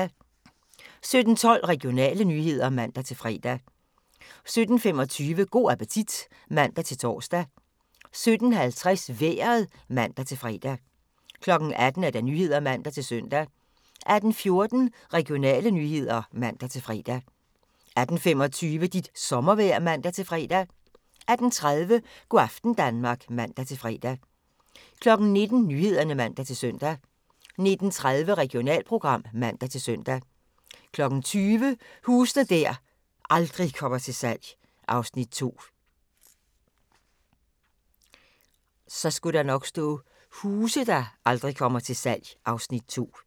17:12: Regionale nyheder (man-fre) 17:25: Go' appetit (man-tor) 17:50: Vejret (man-fre) 18:00: Nyhederne (man-søn) 18:14: Regionale nyheder (man-fre) 18:25: Dit sommervejr (man-fre) 18:30: Go' aften Danmark (man-fre) 19:00: Nyhederne (man-søn) 19:30: Regionalprogram (man-søn) 20:00: Huse der aldrig kommer til salg (Afs. 2)